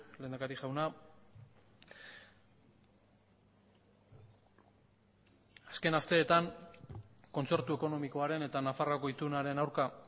lehendakari jauna azken asteetan kontzertu ekonomikoaren eta nafarroako itunaren aurka